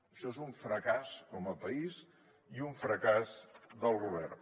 això és un fracàs com a país i un fracàs del govern